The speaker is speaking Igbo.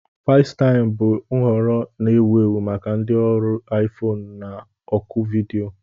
Fesitaim bụ nhọrọ na-ewu ewu maka ndị ọrụ iFone na oku vidiyo.